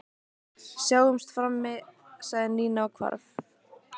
Sjáumst frammi sagði Nína og hvarf.